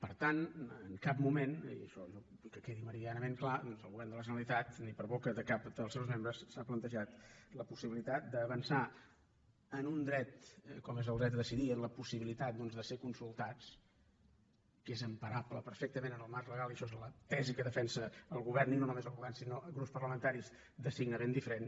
per tant en cap moment i això jo vull que quedi meridianament clar el govern de la generalitat ni per boca de cap dels seus membres s’ha plantejat la possibilitat d’avançar en un dret com és el dret a decidir en la possibilitat de ser consultats que és emparable perfectament en el marc legal i això és la tesi que defensa el govern i no només el govern sinó grups parlamentaris de signe ben diferent